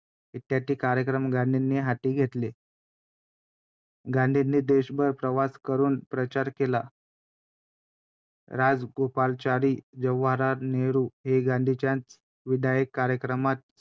कार्यक्रम गांधींनी हाती घेतले. गांधींनी देशभर प्रवास करून प्रचार केला. राजगोपालाचारी, जवाहरलाल नेहरू हे गाधींच्याच विधायक कार्यक्रमात